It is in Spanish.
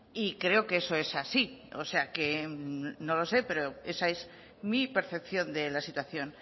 y creo que eso es así o sea que no lo sé pero esa es mi percepción de la situación